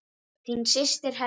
Þín systir Helga.